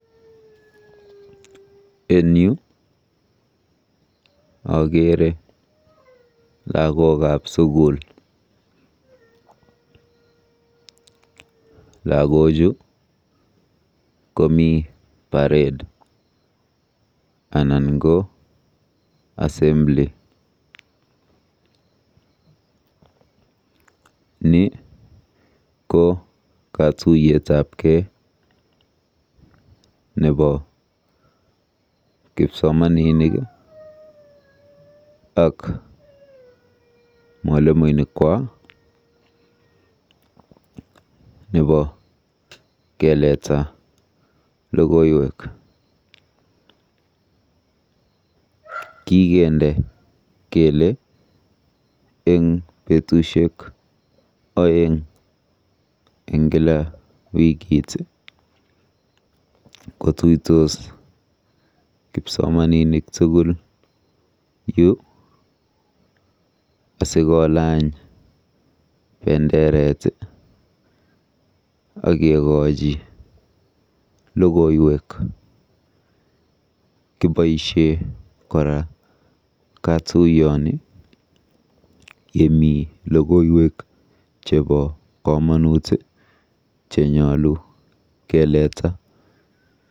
En yu akeere lagokab sukul. Lagochu kopi parade anan ko assembly. Ni ko katuiyetabkei nembo kipsomaninik ak mwolimoinikwa nebo keleta logoiwek. Kikende kele eng betusiek oeng eng kila wikit kotuitos kipsomaninik tugul yu asikolany benderet akekochi logoiwek. Kiboisie kora katuiyoni yemi logoiwek chebo komonut chenyolu keleta.